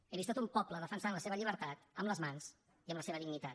he vist tot un poble defensant la seva llibertat amb les mans i amb la seva dignitat